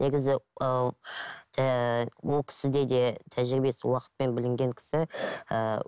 негізі ол ііі ол кісіде де тәжірибесі уақытпен білінген кісі ііі